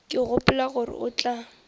ke gopola gore o tla